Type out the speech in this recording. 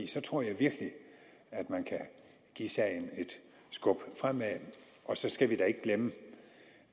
så tror jeg virkelig at man kan give sagen et skub fremad og så skal vi da ikke glemme